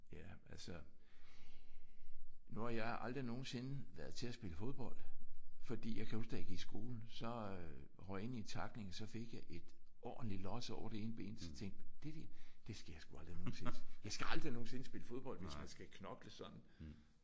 Ja altså. Nu har jeg aldrig nogensinde været til at spille fodbold fordi jeg kan huske da jeg gik i skole så øh røg jeg ind i en tackling og så fik jeg et ordenligt los over det ene ben. Så tænkte jeg det der det skal jeg sgu aldrig nogensinde. Jeg skal aldrig nogensinde spille fodbold hvis jeg skal knokle sådan